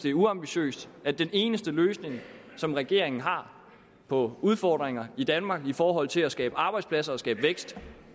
er uambitiøst at den eneste løsning som regeringen har på udfordringer i danmark i forhold til at skabe arbejdspladser og skabe vækst